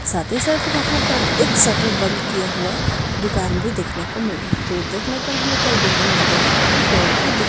साथ ही साथ यहा पर एक शटर बंद किया हुआ दुकान भी देखने को मिल रहा है दूर देखने पर हमे कई बिल्डिंग नजर आ रहे है पेड़ भी दिख --